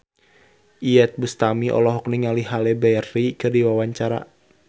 Iyeth Bustami olohok ningali Halle Berry keur diwawancara